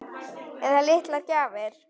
Eða litlar gjafir.